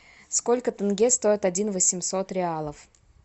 сколько тенге стоит один восемьсот реалов